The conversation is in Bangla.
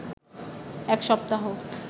এক সপ্তাহ